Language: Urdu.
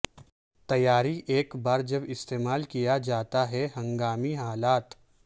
تیاری ایک بار جب استعمال کیا جاتا ہے ہنگامی حالات